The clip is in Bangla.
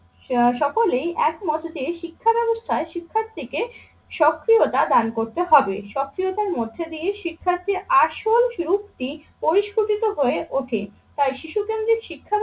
সকলেই একমত যে শিক্ষাব্যবস্থায় শিক্ষার্থীকে সক্রিয়তা দান করতে হবে। সক্রিয়তার মধ্যে দিয়ে শিক্ষার্থীর আসল সুরক্তি পরিস্ফুটিত হয়ে ওঠে। তাই শিশু কেন্দ্রিক শিক্ষা ব্যবস্থার